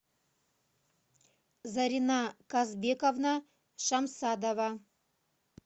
зарина казбековна шамсадова